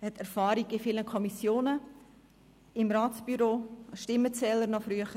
Er hat Erfahrung in zahlreichen Kommissionen, als Mitglied des Ratsbüros und früher als Stimmenzähler.